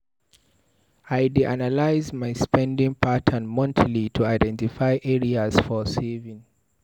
I dey analyze my spending patterns monthly to identify areas for savings.